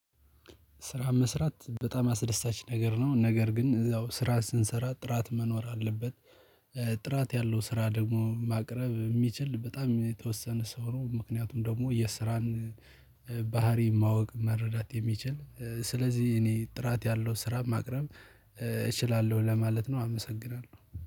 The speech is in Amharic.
ስራ መስራት በጣም አስደሳች ነገር ነው ነገር ግን እዛው ስራ ስንሰራ ጥራት መኖር አለበት። ጥራት ያለው ስራ ደግሞ ማቅረብ የሚችል በጣም የተወሰነ ሰው ነው ምክንያቱም ደግሞ የስራን ባህሪ ማወቅ መረዳት የሚችል ስለዚህ እኔ ጥራት ያለው ስራ ማቅረብ እችላለሁ ለማለት ነው። አመሰግናለሁ